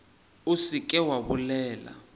o se ke wa bolela